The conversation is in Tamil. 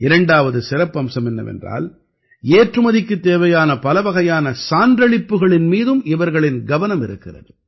இரண்டாவது சிறப்பம்சம் என்னவென்றால் ஏற்றுமதிக்குத் தேவையான பலவகையான சான்றளிப்புக்களின் மீதும் இவர்களின் கவனம் இருக்கிறது